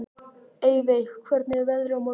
Eyveig, hvernig er veðrið á morgun?